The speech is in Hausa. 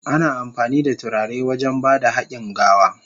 Ana amfani da turare wajen ba da hakin gawa.